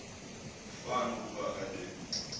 fan ukuba be